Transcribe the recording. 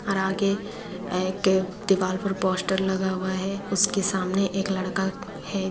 और आगे एक दीवाल पर पोस्टर लगा हुआ है उसके सामने एक लड़का है।